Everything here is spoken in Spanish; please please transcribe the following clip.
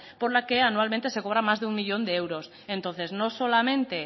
por la que anualmente se cobra más de un millón de euros entonces no solamente